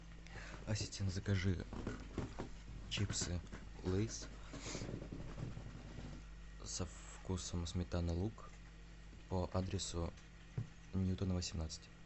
ассистент закажи чипсы лейс со вкусом сметана лук по адресу ньютона восемнадцать